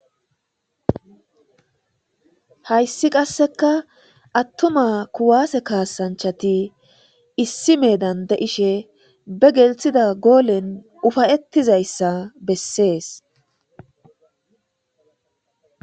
Hayssi qasseka attuma kuwasse kaassanchchati issi meedan de'ishe be gelththida goolen ufa'etizayssa besses.